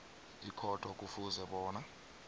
ikhotho kufuze bona